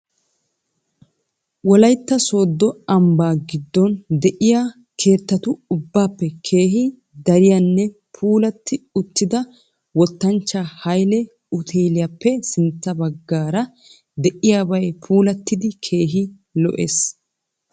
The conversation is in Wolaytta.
Wolaytta soodo ambbaa giddon diya keettatu ubbaappe keehi dariyanne puulatti uttida wottanchcha Hayile uteeliyapp sintta baggaara diyabay puulattidi keehi lo'ees.